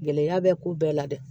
Gɛlɛya bɛ ko bɛɛ la dɛ